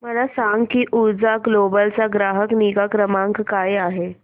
मला सांग की ऊर्जा ग्लोबल चा ग्राहक निगा क्रमांक काय आहे